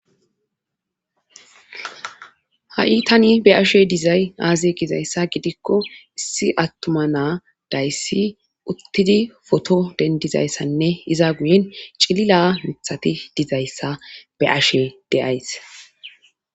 Ha'i tani be ashe dizay aaze gizayssa gidikko issi attuma naa dayssi uttidi foto dendizayssanne iza guyen cilila mithati dizayssa be ashe deays